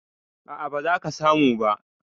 A'a, ba za ka samu ba